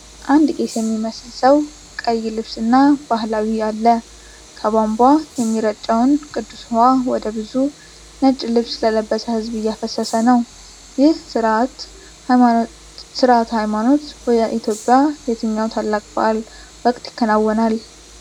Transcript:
አንድ ቄስ የሚመስል ሰው ቀይ ልብስ እና ባህላዊ አለ። ከቧንቧ የሚረጨውን ቅዱስ ውሃ ወደ ብዙ ነጭ ልብስ ለበሰ ሕዝብ እያፈሰሰ ነው። ይህ ሥርዓተ ሃይማኖት በኢትዮጵያ የትኛው ታላቅ በዓል ወቅት ይከናወናል?